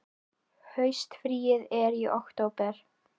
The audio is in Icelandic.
Haustfríið er í október.